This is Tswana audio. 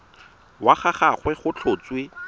wa ga gagwe go tlhotswe